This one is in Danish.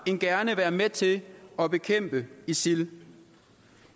end gerne være med til at bekæmpe isil